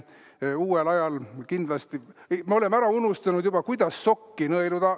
Uuel ajal me kindlasti oleme ära unustanud, kuidas ikkagi sokki nõeluda.